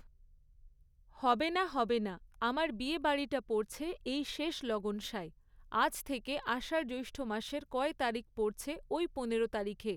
হবে না হবে না আমার বিয়েবাড়িটা পড়ছে এই শেষ লগনসায় আজ থেকে আষাঢ় জ্যৈষ্ঠ মাসের কয় তারিখ পড়ছে ওই পনেরো তারিখে